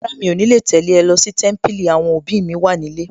Rárá, mi ò ní lè tẹ̀lé ẹ lọ sí Témípìlì, àwọn òbí mi wà nílé